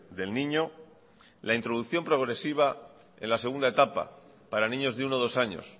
del niño la introducción progresiva en la segunda etapa para niños de uno o dos años